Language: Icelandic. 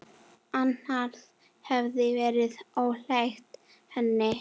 Annað hefði verið ólíkt henni.